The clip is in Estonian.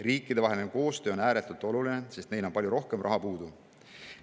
Riikidevaheline koostöö on ääretult oluline, sest on palju rohkem raha puudu.